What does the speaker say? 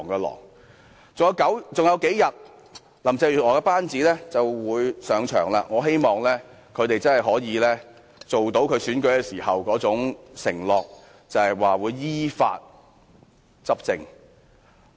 還有數天，林鄭月娥的班子便會上場，我希望他們真的可以實現她的競選承諾，依法執政。